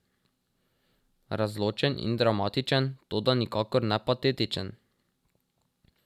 Razločen in dramatičen, toda nikakor ne patetičen.